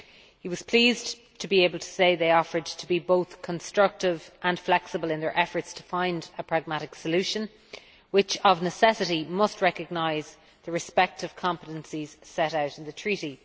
He was pleased to be able to say they offered to be both constructive and flexible in their efforts to find a pragmatic solution, which of necessity must recognise the respective competencies set out in the Treaty.